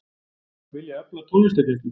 Vilja efla tónlistarkennslu